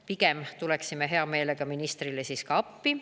Pigem tuleksime hea meelega ministrile siis ka appi.